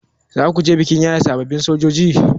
Zakuje bikin yaye sababbin sojoji?